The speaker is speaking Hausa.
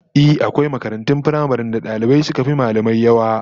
Ehh, akwai makarantun firamaren da dalibai suka fi mallamai yawa